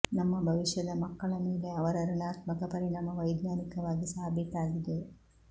ನಮ್ಮ ಭವಿಷ್ಯದ ಮಕ್ಕಳ ಮೇಲೆ ಅವರ ಋಣಾತ್ಮಕ ಪರಿಣಾಮ ವೈಜ್ಞಾನಿಕವಾಗಿ ಸಾಬೀತಾಗಿದೆ